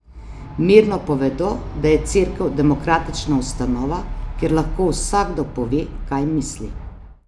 Mirno povedo, da je Cerkev demokratična ustanova, kjer lahko vsakdo pove, kaj misli.